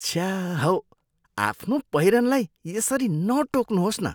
छ्या हौ, आफ्नो पहिरनलाई यसरी नटोक्नुहोस् न।